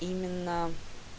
именно